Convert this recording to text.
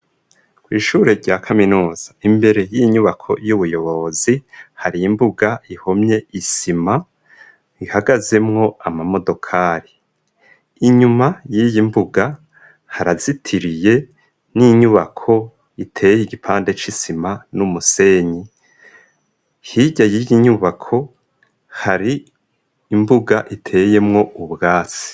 Kwishuri rya kaminuza imbere y'inyubako y'ubuyobozi hari imbuga ihomye isima ihagazemwo ama modokari .Inyuma y'iyi mbuga harazitiriye n'inyubako iteye igipande c'isima n'umusenyi hirya y'iyi nyubako hari imbuga iteyemwo ubwatsi.